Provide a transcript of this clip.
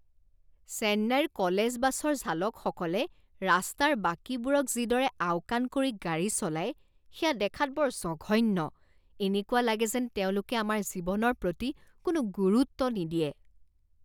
চেন্নাইৰ কলেজ বাছৰ চালকসকলে ৰাস্তাৰ বাকীবোৰক যিদৰে আওকাণ কৰি গাড়ী চলাই সেয়া দেখাত বৰ জঘন্য। এনেকুৱা লাগে যেন তেওঁলোকে আমাৰ জীৱনৰ প্ৰতি কোনো গুৰুত্ব নিদিয়ে।